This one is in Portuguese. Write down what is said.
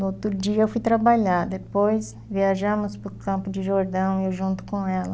No outro dia eu fui trabalhar, depois viajamos para Campos do Jordão, eu junto com ela.